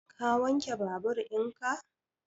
Ka wanke babur in ka?